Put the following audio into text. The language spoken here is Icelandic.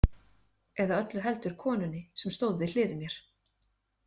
Eða öllu heldur konunni sem stóð við hlið mér.